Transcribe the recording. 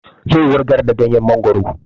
Zai wurgar da ganyen mongoro